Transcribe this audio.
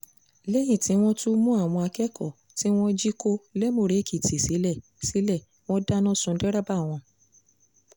lẹ́yìn tí wọ́n tú àwọn akẹ́kọ̀ọ́ tí wọ́n jí kó lẹ́múrè-èkìtì sílẹ̀ sílẹ̀ wọn dáná sun dẹ́rẹ́bà wọn